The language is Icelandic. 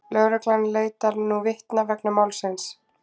Lögreglan leitar nú vitna vegna málsins